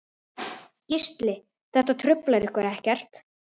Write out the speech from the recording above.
Gísli: Þetta truflar ykkur ekkert?